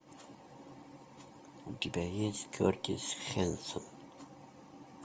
у тебя есть кертис хэнсон